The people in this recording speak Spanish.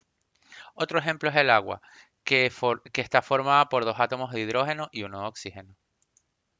otro ejemplo es el agua que está formada por dos átomos de hidrógeno y uno de oxígeno